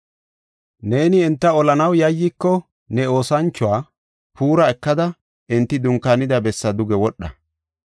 Neeni enta olanaw yayyiko ne oosanchuwa Puura ekada enti dunkaanida bessaa duge wodha.